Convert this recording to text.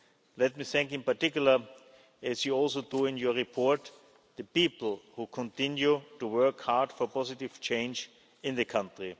Moldova. Let me thank in particular, as you also do in your report, the people who continue to work hard for positive change in the